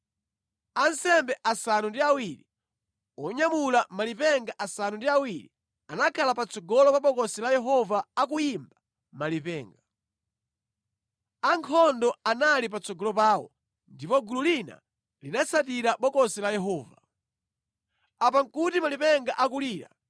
Ansembe asanu ndi awiri onyamula malipenga asanu ndi awiri anakhala patsogolo pa Bokosi la Yehova akuyimba malipenga. Ankhondo anali patsogolo pawo ndipo gulu lina linatsatira Bokosi la Yehova. Apa nʼkuti malipenga akulira.